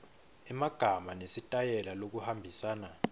emagama nesitayela lokuhambisana